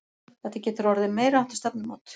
Þetta getur orðið meiriháttar stefnumót!